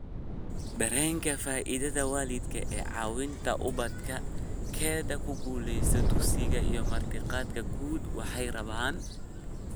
Dareenka faa'iidada waalidka ee caawinta ubadkiisa/keeda ku guuleysiga dugsiga iyo martiqaadyada guud, waxay rabaan